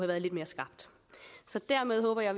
været lidt mere skarpt så dermed håber jeg